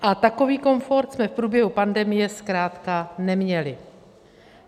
A takový komfort jsme v průběhu pandemie zkrátka neměli.